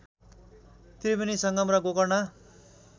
त्रिवेणी संगम र गोकर्ण